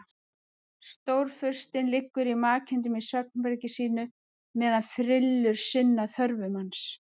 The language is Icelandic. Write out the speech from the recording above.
Stórfurstinn liggur í makindum í svefnherbergi sínu meðan frillur sinna þörfum hans.